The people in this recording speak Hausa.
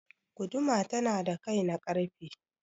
Guduma tana da kai na ƙarfe.